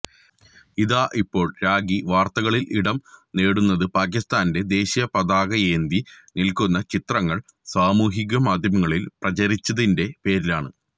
ഇതാ ഇപ്പോൾ രാഖി വാര്ത്തകളിലിടം നേടുന്നത് പാകിസ്താന്റെ ദേശീയ പതാകയേന്തി നില്ക്കുന്ന ചിത്രങ്ങള് സാമൂഹിക മാധ്യമങ്ങളില് പ്രചരിച്ചതിന്റെ പേരിലാണ്